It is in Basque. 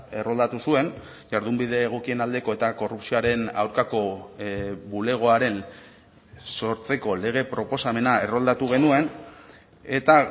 erroldatu zuen jardunbide egokien aldeko eta korrupzioaren aurkako bulegoaren sortzeko lege proposamena erroldatu genuen eta